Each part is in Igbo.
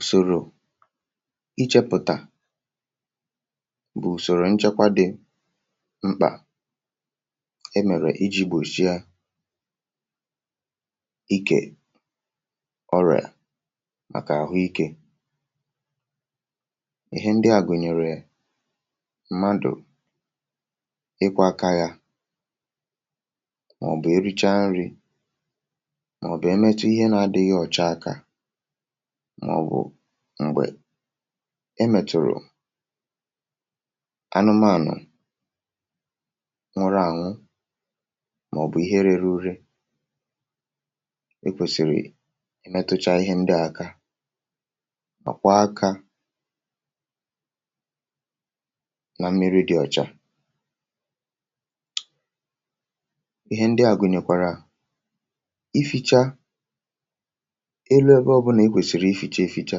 Usorò ịchọp̣tà usorò nchekwà dị̀ m̄kpà enwere iji gbochịà ikè ọrịà makà ahụike ihe ndị à gunyerè mmadụ̀ ịkwọ̀ akà yà maọ̀bụ̀ erechà nrì maọ̀bụ̀ emetu ihe na adịghị̀ ọchà akà maọ̀bụ̀ m̄gbè emeturù anụmanụ̀ nwụrụ anwụ̀ maọ̀bụ̀ ihe reru urè ikwesirì metuchà ihe ndị à akà ma kwọ akà na mmiri dị ọchà ihe ndị à gunyerekwarà ifichaa elu ebe ọbụnà ikwesiri ificha efichà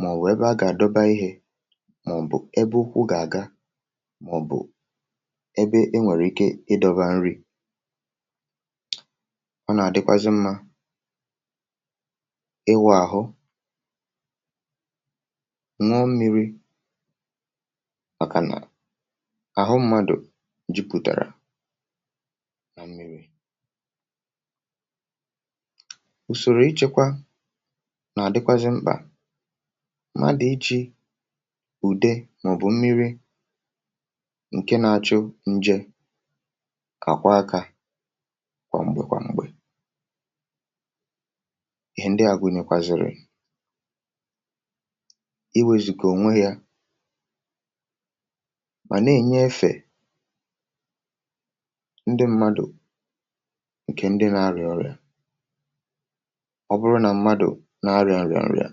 maọ̀bụ̀ ebe a ga-adọbà ihe maọ̀bụ̀ ebe ụkwụ̀ ga-agà maọ̀bụ̀ ebe enwere ike ịdọbà nrì ọ na-adịkwazị̀ mmà ịwụ̀ aghụ̀ n̄ụọ mmiri makà nà ahụ mmadụ̀ jiputarà usoro ichekwà na-adịkwazị̀ m̄kpà mmadụ̀ ichì udè maọ̀bụ̀ mmiri nke na-achụ̀ nje ga-akwọ̀ akà kwamgbe kwamgbè ihe ndị à gunyekwazịrị̀ iwezugà onwe yà ma na-enye efè ndị̀ mmadụ̀ nke ndị na-arrà ọrịà ọ bụrụ̀ na mmadụ̀ na-arịà nra nrà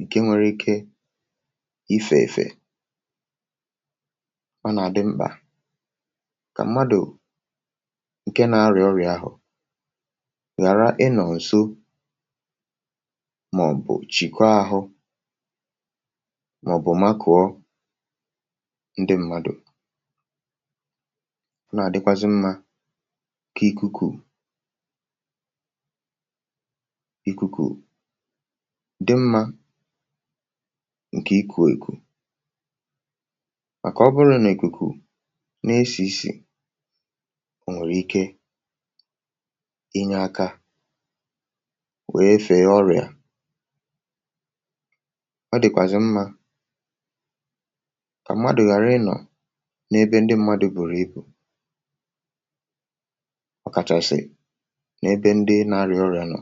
nke nwere ike ife ifè ọ na-adị̀ m̄kpà ka mmadụ̀ nke na-arịà ọrịà ahụ̀ gharà ịnọ̀ nso maọ̀bụ̀ chiko ahụ̀ maọ̀bụ̀ makuo ndị mmadụ̀ ọ na-adịkwazị̀ mmà ka ikukù ikukù dị mma nke ikuekù makà ọbụrụ n’ikukù na-esi isì o nwere ike inye aka wee feē ọrịà ọ dịkwazị̀ mmà ka mmadụ̀ gharà ịnọ̀ n’ebe ndị mmadụ̀ burù ibù ọkachasị̀ n’ebe ndị na-arịà ọrịà nọ̀